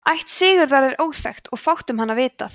ætt sigurðar er óþekkt og fátt um hann vitað